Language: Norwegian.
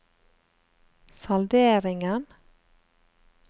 salderingen